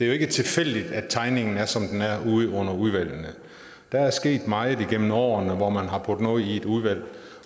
jo ikke tilfældigt at tegningen er som den er der er sket meget igennem årene hvor man har puttet noget i udvalg